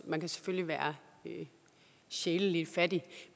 man kan selvfølgelig være sjæleligt fattig